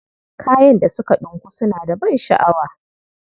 Kayan da suka ɗinku suna da ban sha'awa.